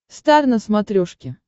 стар на смотрешке